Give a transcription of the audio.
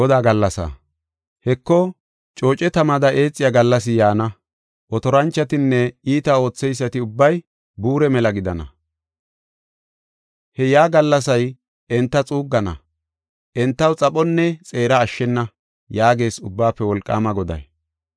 “Heko, cooce tamada eexiya gallasi yaana; otoranchotinne iita ootheysati ubbay buure mela gidana. He yaa gallasay enta xuuggana; entaw xaphonne xeera ashshena” yaagees Ubbaafe Wolqaama Goday.